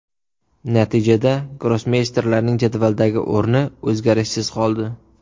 Natijada grossmeysterlarning jadvaldagi o‘rni o‘zgarishsiz qoldi.